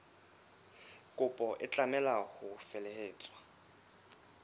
kopo e tlameha ho felehetswa